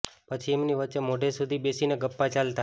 પછી એમની વચ્ચે મોડે સુધી બેસીને ગપ્પાં ચાલતાં